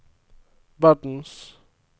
verdens